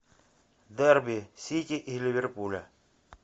дерби сити и ливерпуля